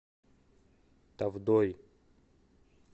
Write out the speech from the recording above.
тавдой